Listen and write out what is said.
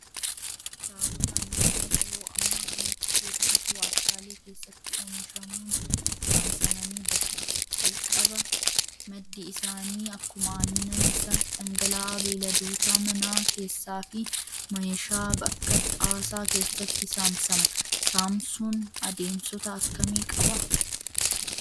Daakuun annanii yeroo ammaa kanatti hedduutu waarshaalee keessatti oomishamuun saamsamanii bahu. Calqaba maddi isaanii akkuma aannan isa dhangala'aa beeyladoota manaa keessaa fi meeshaa akka xaasaa keessatti saamsama. Saamsuun adeemsota akkamii qabaa?